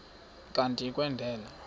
kanti uia kwendela